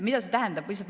Mida see tähendab?